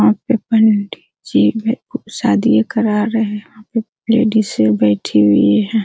वहां पे पंडी जी शादियां करा रहे है वहां पे लेडिजे बैठी हुई है।